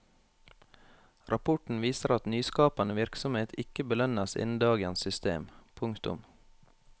Rapporten viser at nyskapende virksomhet ikke belønnes innen dagens system. punktum